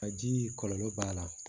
Ka ji kɔlɔlɔ b'a la